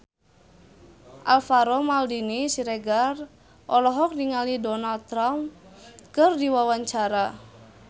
Alvaro Maldini Siregar olohok ningali Donald Trump keur diwawancara